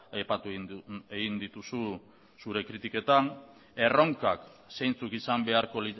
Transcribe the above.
aipatu egin dituzu zure kritiketan erronkak zeintzuk izan beharko